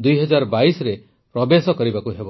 ୨୦୨୨ରେ ପ୍ରବେଶ କରିବାକୁ ହେବ